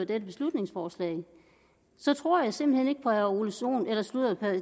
dette beslutningsforslag så tror jeg simpelt hen ikke på herre ole sohn nej sludder